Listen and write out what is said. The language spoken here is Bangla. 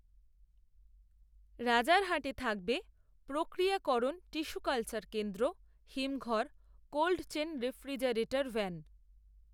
রাজারহাটে থাকবে প্রক্রিয়াকরণ টিস্যু কালচার কেন্দ্র, হিমঘর, কোল্ডচেন রেফ্রিজারেটর ভ্যান